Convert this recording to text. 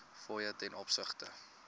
fooie ten opsigte